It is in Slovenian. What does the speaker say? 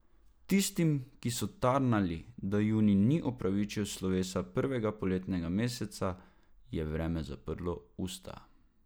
Tistim, ki so tarnali, da junij ni opravičil slovesa prvega poletnega meseca, je vreme zaprlo usta.